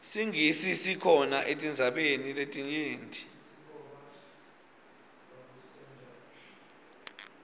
singisi sikhona etindzaweni letinyenti